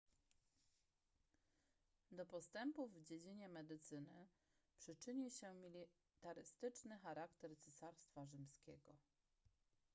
do postępów w dziedzinie medycyny przyczynił się militarystyczny charakter cesarstwa rzymskiego